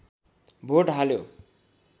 vote हाल्यो